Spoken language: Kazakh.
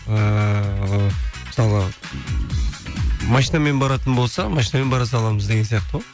ыыы мысалы машинамен баратын болса машинамен бара саламыз деген сияқты ғой